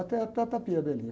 Até, até, a.